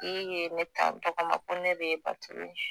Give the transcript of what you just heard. A tigi ye ne ta n tɔgɔ ma ko ne de ye baturu ye